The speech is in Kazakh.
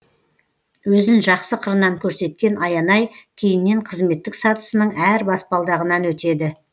өзін жақсы қырынан көрсеткен аянай кейіннен қызметтік сатысының әр баспалдағынан өтеді